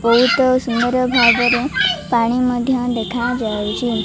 ବୋହୁତ ସୁନ୍ଦର୍ ଭାବରେ ପାଣି ମଧ୍ୟ ଦେଖାଯାଉଛି।